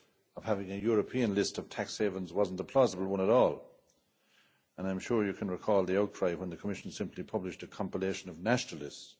of having a European list of tax havens was not a plausible one at all, and I'm sure you can recall the outcry when the Commission simply published a compilation of national lists.